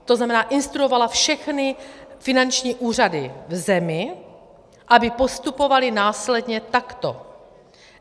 To znamená, instruovala všechny finanční úřady v zemi, aby postupovaly následně takto.